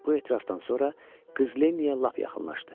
Bu etirafdan sonra qız Lenniyə lap yaxınlaşdı.